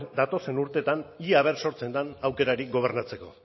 datozen urteetan ea a ver sortzen den aukerarik gobernatzeko